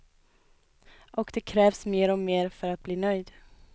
Och det krävs mer och mer för att bli nöjd.